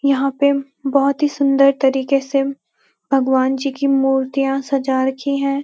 यहाँ पे बहुत ही सुंदर तरीके से भगवान जी की मूर्तियाँ सजा रखी हैं।